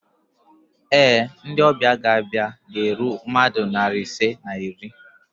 Ee, ndị ọbịa ga-abịa ga-eru mmadụ narị ise na iri